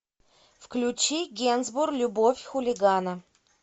включи генсбур любовь хулигана